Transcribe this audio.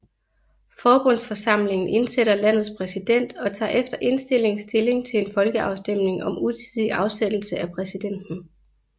Forbundsforsamlingen indsætter landets præsident og tager efter indstilling stilling til en folkeafstemning om utidig afsættelse af præsidenten